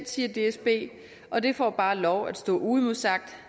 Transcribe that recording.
siger dsb og det får bare lov at stå uimodsagt